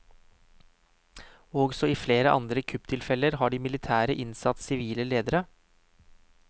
Også i flere andre kupptilfeller har de militære innsatt sivile ledere.